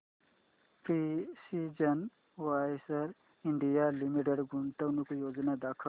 precision Wires India Limited गुंतवणूक योजना दाखव